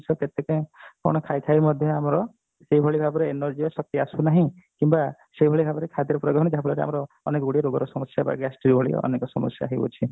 ଜିନିଷ କେତେ କଣ ଖାଇ ଖାଇ ମଧ୍ୟ ଆମର ସେଇ ଭଳି ଭାବରେ energy ଆଉସ ଶକ୍ତି ଆସୁନାହିଁ କିମ୍ବା ସେଇ ଭଳି ଭାବରେ ଯାହା ଫଳରେ ଆମର ଆମେ ଗୁଡିଏ ରୋଗର ସମୟର gastric ଭଳି ଅନେକ ସମସ୍ଯା ହେଉଅଛି